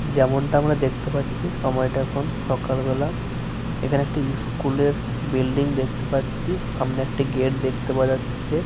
যেমনটা আমরা দেখতে পাচ্ছি সময়টা এখন সকালবেলা। এখানে একটি স্কুল এর বিল্ডিং দেখতে পাচ্ছি। সামনে একটি গেট দেখতে পাওয়া যাচ্ছে।